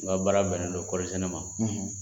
N ka baara bɛn ne dɔ ne ma;